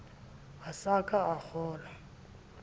a sa ka a kgaola